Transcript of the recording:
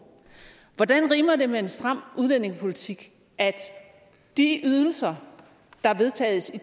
hvordan rimer det med en stram udlændingepolitik at de ydelser der vedtages